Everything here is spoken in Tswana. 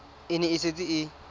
e ne e setse e